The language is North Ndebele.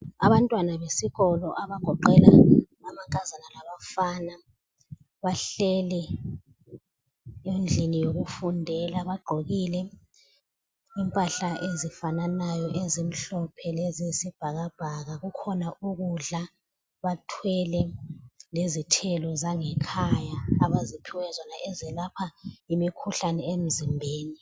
Abantwana besikolo abagoqela amankazana labafana bahleli endlini yokufundela. Bagqokile impahla ezifananayo ezimhlophe leziyisibhakabhaka. Kukhona ukudla, bathwele lezithelo zangekhaya abaziphiwe zona ezelapha imikhuhlane emizimbeni.